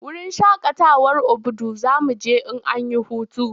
Wurin shakatawar Obudu za mu je in an yi hutu.